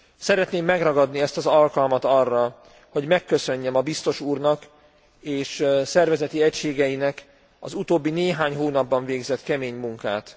Szeretném megragadni ezt az alkalmat arra, hogy megköszönjem a biztos úrnak és szervezeti egységeinek az utóbbi néhány hónapban végzett kemény munkát.